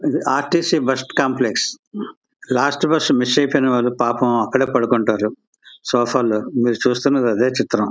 ఇది R T C bus stand place . Last bus miss అయిపోయిన వాలు పాపం పడుకుంటారు. మీరు చూస్తున్నది అదే చిత్రం.